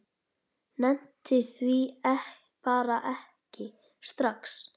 Nennti því bara ekki strax.